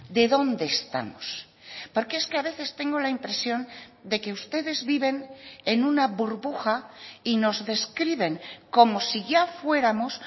de dónde estamos porque es que a veces tengo la impresión de que ustedes viven en una burbuja y nos describen como si ya fuéramos